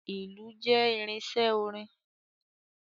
Ìlù jẹ́ irinṣẹ́ orin.